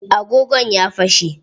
Agogon ya fashe.